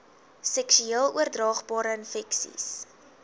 seksueel oordraagbare infeksies